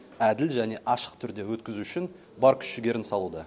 әділ және ашық түрде өткізу үшін бар күш жігерін салуда